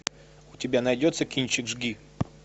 у тебя найдется кинчик жги